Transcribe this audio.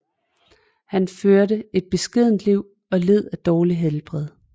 Han førte et beskedent liv og led af dårligt helbred